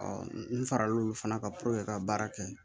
n fara l'olu fana kan ka baara kɛ